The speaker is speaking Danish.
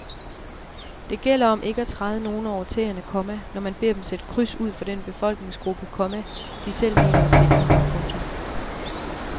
Det gælder om ikke at træde nogen over tæerne, komma når man beder dem sætte kryds ud for den befolkningsgruppe, komma de selv mener at tilhøre. punktum